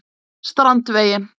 Strandvegi